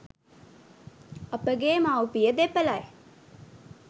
අපගේ මව් පිය දෙපළයි.